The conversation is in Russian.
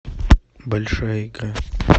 большая игра